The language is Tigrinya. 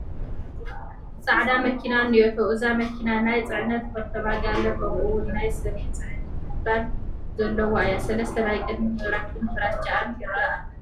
ፃዕዳ መኪና እኔቶ፡፡ እዛ መኪና ናይ ፅዕነት ፖርቶመጋለ ከምኡውን ናይ ሰብ መፅዓኒ ክፍል ዘለዋ እያ፡፡ 3 ናይ ቅድሚት መብራህታን ፍራችኣን ይርአ ኣሎ፡፡